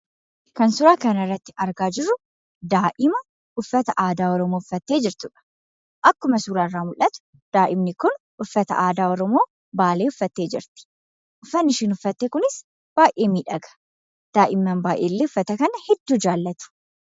Kan nuti suuraa irratti arginu daa'ima uffata aadaa uffattee jechuudha. Akkuma suuraa irraa mul'atu daa'imni kun uffata aadaa Oromoo Baalee uffattee jirti. Uffanni isheen uffatte kunis baay'ee miidhaga. Daa'imman baay'een illee uffata kana hedduu jaallatu.